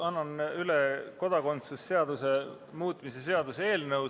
Annan üle kodakondsuse seaduse muutmise seaduse eelnõu.